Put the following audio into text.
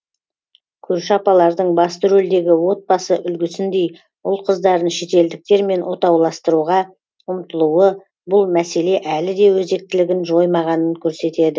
көрші апалардың басты рөлдегі отбасы үлгісіндей ұл қыздарын шетелдіктермен отауластыруға ұмтылуы бұл мәселе әлі де өзектілігін жоймағанын көрсетеді